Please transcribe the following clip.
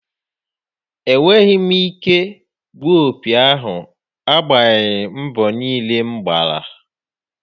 Enweghị m ike gbuọ opi ahụ agbanyeghị mbọ niile m gbara.